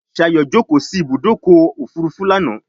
Shayo jókó sí Ibùdókọ̀ òfurufú lànà.